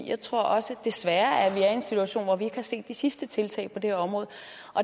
jeg tror også desværre at vi er en situation hvor vi ikke har set det sidste tiltag på det her område